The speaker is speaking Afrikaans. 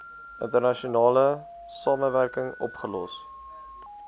internasionale samewerking opgelos